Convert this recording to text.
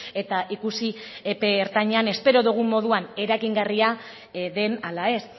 eta ikusi epe ertainean espero dugun moduan eragingarria den ala ez